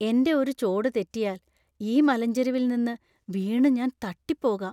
എന്‍റെ ഒരു ചോട് തെറ്റിയാല്‍, ഈ മലഞ്ചെരിവിൽ നിന്ന് വീണു ഞാൻ തട്ടിപ്പോകാം.